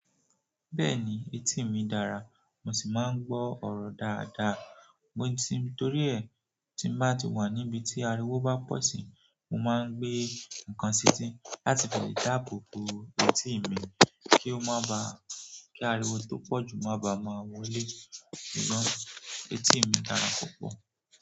Bẹ́ẹ̀ni, eti mi dára, mo si maa n gbo oro dáadáa nítorí ẹ, tí n bá ti wà níbi tí ariwo bá pọ̀ sí, mo máa ń gbé nǹkan sí eti, láti fi dàbò bo etí mi kí ó má ba, kí ariwo tó pọ̀ jù má bàa máa wọlé. Ṣùgbọ́n etí mi dára púpọ̀.